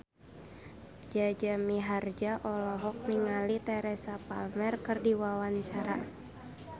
Jaja Mihardja olohok ningali Teresa Palmer keur diwawancara